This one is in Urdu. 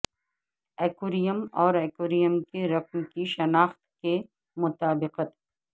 ایکویریم اور ایکویریم کے رقم کی شناخت کی مطابقت